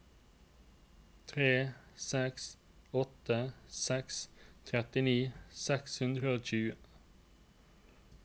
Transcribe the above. tre seks åtte seks trettini seks hundre og tjue